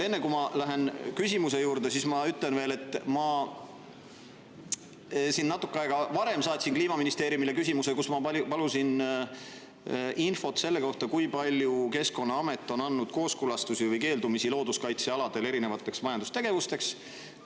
Enne, kui ma lähen küsimuse juurde, ütlen veel, et ma natuke aega varem saatsin Kliimaministeeriumile küsimuse, kus ma palusin infot selle kohta, kui palju Keskkonnaamet on andnud kooskõlastusi erinevatele majandustegevustele looduskaitsealadel või keeldunud.